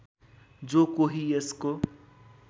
जो कोही यसको